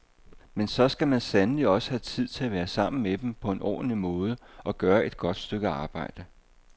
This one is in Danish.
Men så skal man sandelig også have tid til at være sammen med dem på en ordentlig måde, at gøre et godt stykke arbejde.